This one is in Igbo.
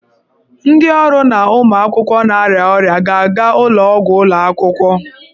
Ndị ọrụ na ụmụ akwụkwọ na-arịa ọrịa ga-aga ụlọ ọgwụ ụlọ akwụkwọ.